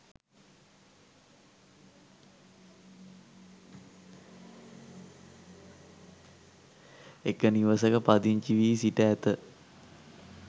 එක නිවසක පදිංචි වී සිට ඇත.